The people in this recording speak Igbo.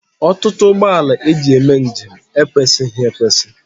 Ọtụtụ ụgbọala e ji eme njem ekwesịghị ekwesị